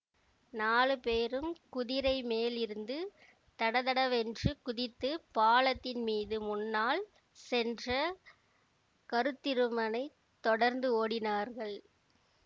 நாலு பேரும் குதிரை மேலிருந்து தடதடவென்று குதித்துப் பாலத்தின் மீது முன்னால் சென்ற கருத்திருமனைத் தொடர்ந்து ஓடினார்கள்